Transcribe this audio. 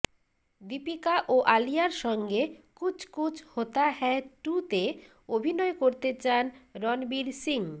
দীপিকা ও আলিয়ার সঙ্গে কুছ কুছ হোতা হ্যায় টু তে অভিনয় করতে চান রণবীর সিং